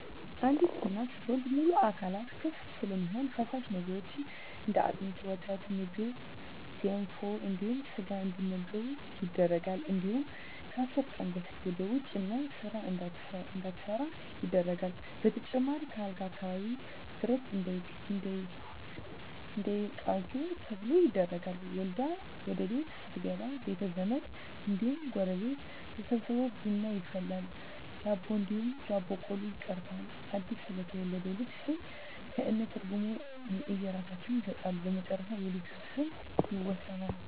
አንዲት እናት ስትወልድ ሙሉ አካላቶች ክፍት ስለሚሆኑ ፈሳሽ ነገሮች እንደ አጥሚት: ወተትና ምግብ ገንፎ እንዲሁም ስጋ እንዲመገቡ ይደረጋል እንዲሁም ከአስር ቀን በፊት ወደ ውጭ እና ስራ እንዳትሠራ ይደረጋል በተጨማሪም ከአልጋ አካባቢ ብረት እንዳይቃጁ ተብሎ ይደረጋል። ወልዳ ወደቤት ስትገባ ቤተዘመድ እንዲሁም ጎረቤት ተሠብስቦ ቡና ይፈላል ዳቦ እንዲሁም ዳቦ ቆሎ ይቀርባል አድስ ለተወለደው ልጅ ስም ከእነ ትርጉም የእየራሳቸውን ይሠጣሉ በመጨረሻ የልጁ ስም ይወሰናል።